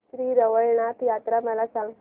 श्री रवळनाथ यात्रा मला सांग